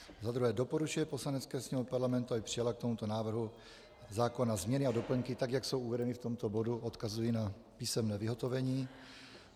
za druhé doporučuje Poslanecké sněmovně Parlamentu, aby přijala k tomuto návrhu zákona změny a doplňky, tak jak jsou uvedeny v tomto bodu - odkazuji na písemné vyhotovení;